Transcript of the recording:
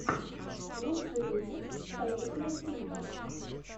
лучший выпуск союзмультфильма